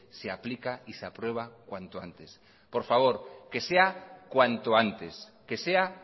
se aplica y se aprueba cuanto antes por favor que sea cuanto antes que sea